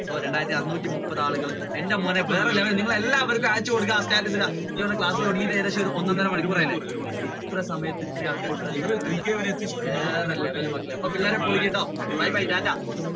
രണ്ടായിരത്തി അറുനൂറ്റി മുപ്പത് ആളുകൾ എന്റെ മോനെ പോലെ നിങ്ങൾ എല്ലാവര്ക്കും അയച്ചു status കൊടുക്കുക ഇടുക എനിക്ക് തോന്നുന്നു ക്ലാസ് ഏകദേശം ഒരു ഒന്ന് ഒന്നര മണിക്കൂർ ആയി അല്ലെ ഇത്രയും സമയത്ത് ഇത്രയും ആൾക്കാർ പിള്ളേർ പൊളിക്കൂട്ടോ okay bye bye tata.